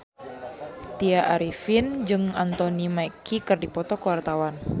Tya Arifin jeung Anthony Mackie keur dipoto ku wartawan